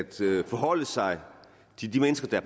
forholde sig til de mennesker der